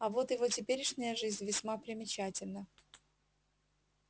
а вот его теперешняя жизнь весьма примечательна